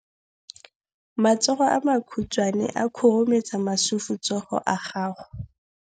Matsogo a makhutshwane a khurumetsa masufutsogo a gago.